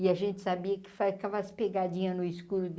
E a gente sabia que ficava as pegadinhas no escuro